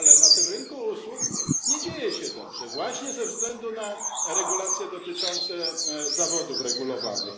Ale na tym rynku usług nie dzieje się dobrze właśnie ze względu na regulacje dotyczące zawodów regulowanych.